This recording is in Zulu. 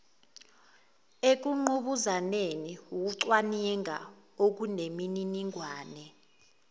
ekungqubuzaneni ukucwaninga okunemininingane